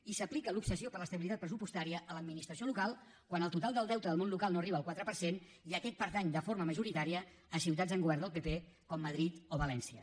i s’aplica l’obsessió per l’estabilitat pressupostària a l’administració local quan el total del deute del món local no arriba al quatre per cent i aquest pertany de forma majoritària a ciutats amb govern del pp com madrid o valència